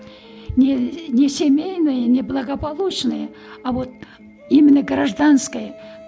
не не семейное не благополучное а вот именно гражданское